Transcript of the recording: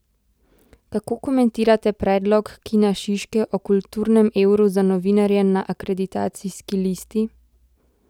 Kako komentirate predlog Kina Šiške o kulturnem evru za novinarje na akreditacijski listi?